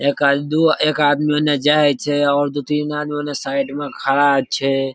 एक आद दू एक आदमी उने जाय छै और दू-तीन आदमी उने साइड में खड़ा छै।